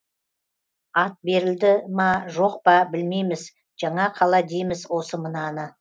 ат берілді ма жоқ па білмейміз жаңа қала дейміз осы мынаны